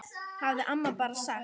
hafði amma bara sagt.